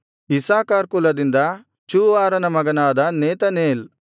Issachar ಕುಲದಿಂದ ಚೂವಾರನ ಮಗನಾದ ನೆತನೇಲ್